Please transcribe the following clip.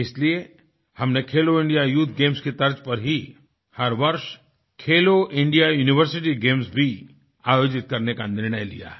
इसलिए हमने खेलो इंडिया यूथ गेम्स की तर्ज पर ही हर वर्ष खेलो इंडिया यूनिवर्सिटी गेम्स भी आयोजित करने का निर्णय लिया है